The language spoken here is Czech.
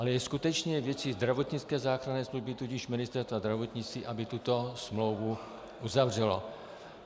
Ale je skutečně věcí zdravotnické záchranné služby, tudíž Ministerstva zdravotnictví, aby tuto smlouvu uzavřelo.